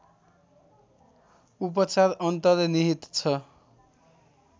उपचार अन्तर्निहित छ